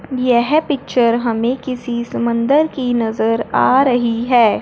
यह पिक्चर हमें किसी समंदर की नजर आ रही है।